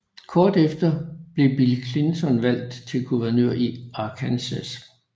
Kort tid efter blev Bill Clinton valgt til guvernør i Arkansas